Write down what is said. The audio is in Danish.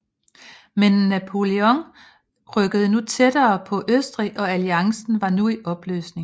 Men Napoleon rykkede nu tættere på Østrig og alliancen var nu i opløsning